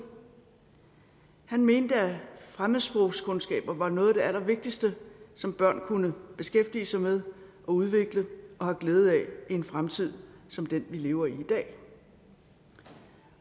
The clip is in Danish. han mente at fremmedsprogskundskaber var noget af det allervigtigste som børn kunne beskæftige sig med og udvikle og have glæde af i en fremtid som den vi lever i i dag